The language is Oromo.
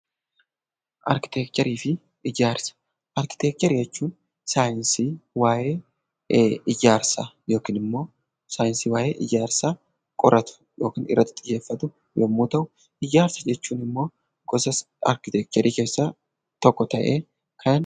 Arkiteekcharii jechuun saayinsii waa'ee ijaarsaa yookiin immoo saayinsii waa'ee ijaarsaa qoratu yookiin irratti xiyyeeffatu yommuu ta'u, ijaarsa jechuun immoo gosa arkiteekcharii keessaa tokko ta'ee, kan..